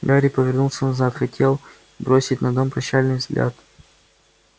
гарри повернулся назад хотел бросить на дом прощальный взгляд